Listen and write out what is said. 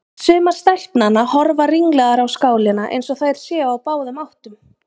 Sumar stelpnanna horfa ringlaðar á skálina eins og þær séu á báðum áttum.